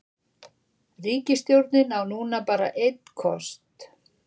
Ríkisstjórnin á núna bara einn kost